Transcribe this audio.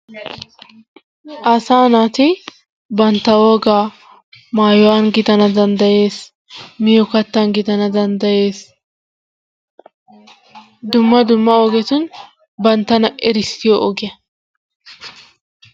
Asaa naati bantta wogaa maayuwan gidana dandayees miyo kattan gidana dandayes dumma dumma ogetun banttana erissiyo ogiya.